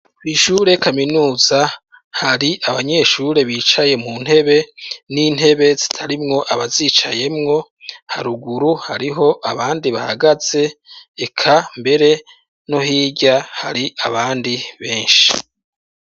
Kw'ishure kaminuza, hari abanyeshure bicaye mu ntebe n'intebe zitarimwo abazicayemwo, haruguru hariho abandi bahagaze, eka mbere no hirya hari abandi benshi.